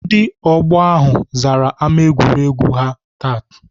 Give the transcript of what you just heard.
Ndị ọgbọ ahụ zara ámá egwuregwu ahụ taa.